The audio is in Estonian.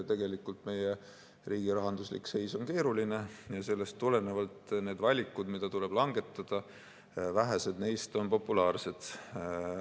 Tegelikult meie riigi rahanduslik seis on keeruline ja sellest tulenevalt on valikutest, mis tuleb langetada, vähesed populaarsed.